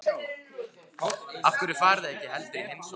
Af hverju farið þið ekki heldur í heimsókn?